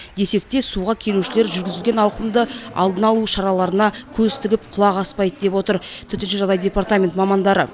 десек те суға келушілер жүргізілген ауқымды алдын алу шараларына көз тігіп құлақ аспайды деп отыр төтенше жағдайлар департамент мамандары